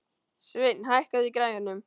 Sveinn, hækkaðu í græjunum.